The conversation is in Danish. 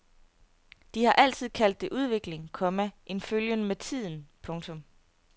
De har altid kaldt det udvikling, komma en følgen med tiden. punktum